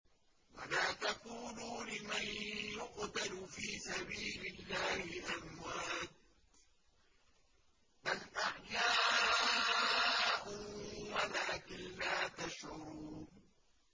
وَلَا تَقُولُوا لِمَن يُقْتَلُ فِي سَبِيلِ اللَّهِ أَمْوَاتٌ ۚ بَلْ أَحْيَاءٌ وَلَٰكِن لَّا تَشْعُرُونَ